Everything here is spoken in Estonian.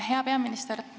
Hea peaminister!